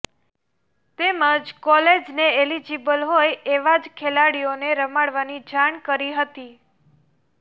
તેમજ કોલેજને એલિજિબલ હોય એવા જ ખેલાડીઓને રમાડવાની જાણ કરી હતી